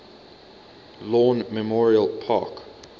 lawn memorial park